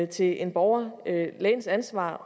til en borger lægens ansvar